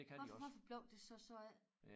Hvorfor hvorfor blev det så sådan